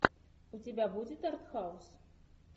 у тебя будет арт хаус